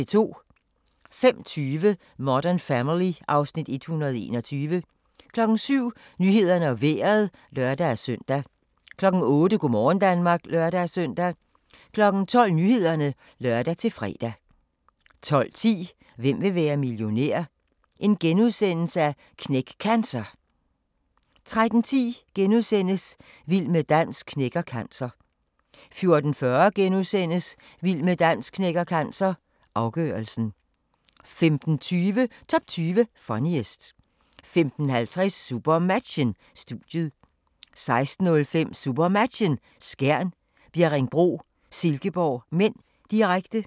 05:20: Modern Family (Afs. 121) 07:00: Nyhederne og Vejret (lør-søn) 08:00: Go' morgen Danmark (lør-søn) 12:00: Nyhederne (lør-fre) 12:10: Hvem vil være millionær? – Knæk Cancer * 13:10: Vild med dans knækker cancer * 14:40: Vild med dans knækker cancer – afgørelsen * 15:20: Top 20 Funniest 15:50: SuperMatchen: Studiet 16:05: SuperMatchen: Skjern - Bjerringbro-Silkeborg (m), direkte